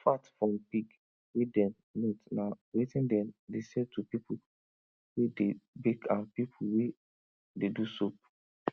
fat from pig wey dem melt na wetin dem dey sell to pipu wey dey bake and pipu wey dey do soap